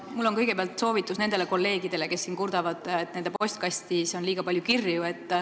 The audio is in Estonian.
Mul on kõigepealt soovitus nendele kolleegidele, kes siin kurdavad, et nende postkastis on liiga palju kirju.